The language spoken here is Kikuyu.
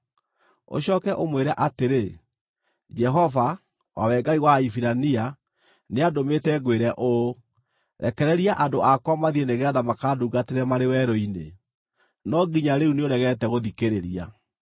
Ũcooke ũmwĩre atĩrĩ, ‘Jehova, o we Ngai wa Ahibirania, nĩandũmĩte ngwĩre ũũ: Rekereria andũ akwa mathiĩ nĩgeetha makandungatĩre marĩ werũ-inĩ. No nginya rĩu nĩũregete gũthikĩrĩria.